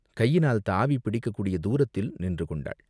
கையினால் தாவிப் பிடிக்கக் கூடிய தூரத்தில் நின்று கொண்டாள்.